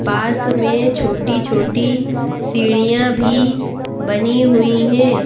पास में छोटी-छोटी सीढ़ियां भी बनी हुई हैं।